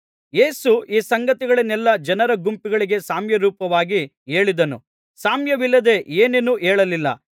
ಯೇಸು ಈ ಸಂಗತಿಗಳನ್ನೆಲ್ಲಾ ಜನರ ಗುಂಪುಗಳಿಗೆ ಸಾಮ್ಯರೂಪವಾಗಿ ಹೇಳಿದನು ಸಾಮ್ಯವಿಲ್ಲದೆ ಏನನ್ನೂ ಹೇಳಲಿಲ್ಲ